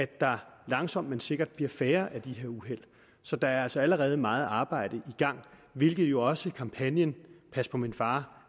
der langsomt men sikkert færre af de her uheld så der er altså allerede meget arbejde i gang hvilket jo også kampagnen pas på min far